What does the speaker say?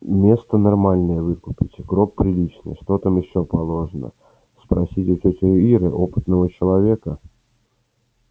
место нормальное выкупить гроб приличный что там ещё положено спросить у тёти иры опытного человека